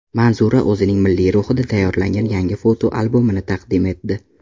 Manzura o‘zining milliylik ruhida tayyorlangan yangi fotoalbomini taqdim etdi .